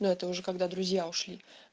это уже когда друзья ушли